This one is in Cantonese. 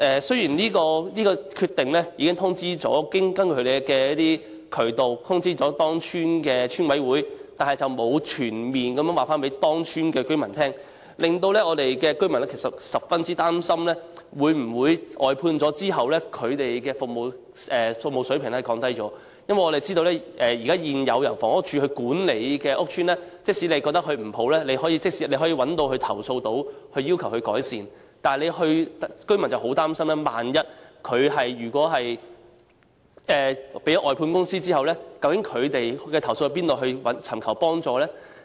雖然這決定已透過有關渠道通知該屋邨的邨委會，但並沒有全面通知該屋邨的居民，居民十分擔心在工作外判後，有關的服務水平會否降低，因為大家也知道，在現時由房署管理的屋邨，假如居民認為服務差劣，也有渠道作出投訴和要求改善；但是，居民十分擔心萬一服務外判後，他們可如何投訴和尋求幫助呢？